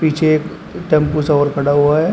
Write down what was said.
पीछे एक टेंपो सा और खड़ा हुआ है।